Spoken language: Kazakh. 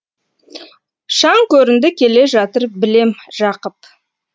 шаң көрінді келе жатыр білем жақып